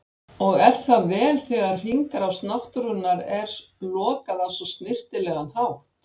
Og er það vel þegar hringrás náttúrunnar er lokað á svo snyrtilegan hátt.